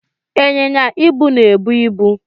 Ịnyịnya ibu na-ebu ibu.